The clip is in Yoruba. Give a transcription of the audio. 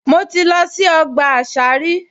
Mo ti lọ sí ọgbà àṣà rí